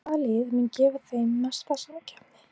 En hvaða lið munu gefa þeim mesta samkeppni?